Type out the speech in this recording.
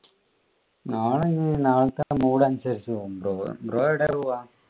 നാളെ ഇനി നാളത്തെ mood അനുസരിച്ചു പോകും bro എവിടെയാ പോകുവാ?